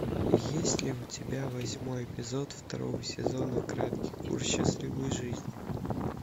есть ли у тебя восьмой эпизод второго сезона краткий курс счастливой жизни